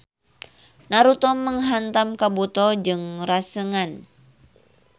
Naruto menghantam Kabuto jeung Rasengan.